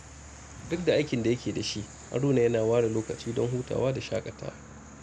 Duk da aikin da yake da shi, Haruna yana ware lokaci don hutawa da shaƙatawa.